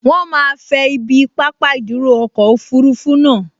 Wọ́n máa fẹ ibi pápá ìdúró ọkọ̀ òfurufú naa